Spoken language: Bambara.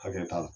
Hakɛ t'a la